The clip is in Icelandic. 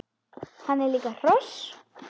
Hann er líka hross!